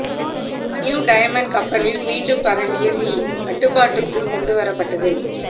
new diamond கப்பலில் மீண்டும் பரவிய தீ கட்டுப்பாட்டுக்குள் கொண்டுவரப்பட்டது